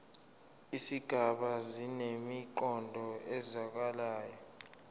izigaba zinemiqondo ezwakalayo